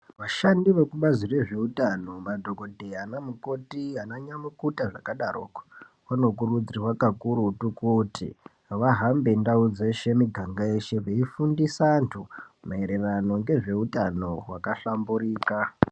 Vashandi vekubazi rezveutano madhokodheya, vana mukoti, vana nyamukuta zvakadoroko vanokurudzirwa kakurutu kuti vahambe ndau dzeshe, muganga yeshe veifundisa antu maererano ngezveutano hwaka hlamburika.